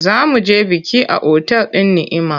Za mu je biki a otal din Ni’ima.